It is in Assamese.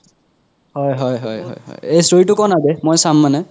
হয় হয় হয় হয় এ story তো ক' না বে মই চাম মানে